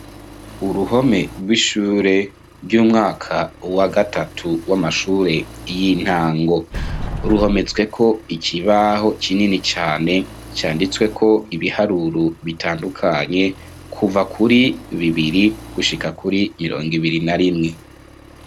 Uruhome rw'ishure ry'umwaka wa gatatu w'amashure y'intango, ruhometsweko ikibaho kinini cane canditsweko ibiharuro bitandukanye kuva kuri bibiri gushika kuri mirongo ibiri na rimwe.